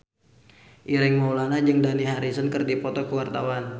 Ireng Maulana jeung Dani Harrison keur dipoto ku wartawan